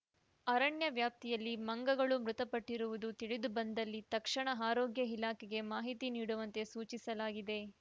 ಅರಣ್ಯ ವ್ಯಾಪ್ತಿಯಲ್ಲಿ ಮಂಗಗಳು ಮೃತಪಟ್ಟಿರುವುದು ತಿಳಿದು ಬಂದಲ್ಲಿ ತಕ್ಷಣ ಆರೋಗ್ಯ ಇಲಾಖೆಗೆ ಮಾಹಿತಿ ನೀಡುವಂತೆ ಸೂಚಿಸಲಾಗಿದೆ